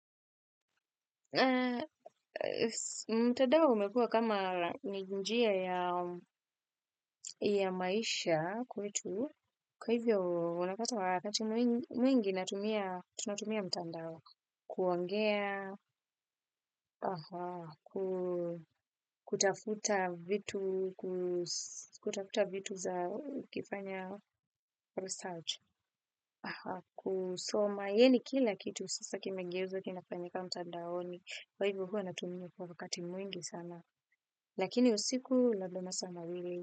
Mtandao umekua kama ni njia ya maisha kwetu, kwaivyo unapata wakati mwingi natumia mtandao, kuongea, kutafuta vitu za ukifanya research, kusoma yani kila kitu sasa kimegeuzwa kinafanyika mtandaoni kwa hivyo huo natumia kwa wakati mwingi sana. Lakini usiku labda masaa mawili.